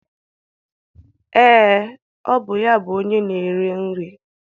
Ee, ọ bụ ya bụ onye na-ere nri